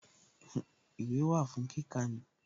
Ìwé wà fún kíkà ni